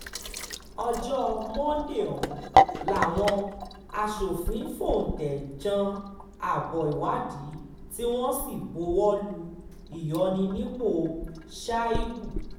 ọjọ́ monde ọ̀hún làwọn aṣòfin fóúntẹ̀ jan abo ìwádìí tí wọ́n sì buwọ́ lu ìyọnipọ̀ shuaïbù